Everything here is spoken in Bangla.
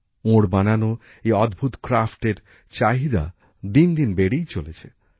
ওঁর বানানো এই অদ্ভুত হস্তশিল্পের চাহিদা দিন দিন বেড়েই চলেছে